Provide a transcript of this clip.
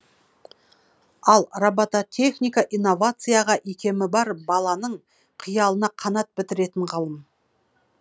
ал робототехника инновацияға икемі бар баланың қиялына қанат бітіретін ғылым